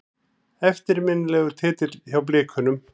Eftirminnilegur titill hjá Blikunum.